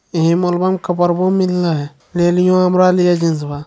ये मोल में कपड़वो मील रहा है जीन्स बा।